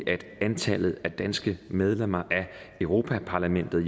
at antallet af danske medlemmer af europa parlamentet